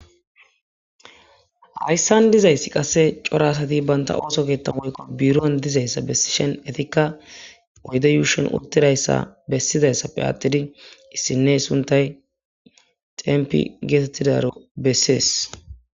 hayssan dizayssi qasse corasati banta ooso keetta woykko buiroan dizayssa bessishen etikka oyde yuushen uttidayssa bessizayssappe aattidi issinne suntay tenpi geetettidaro bessees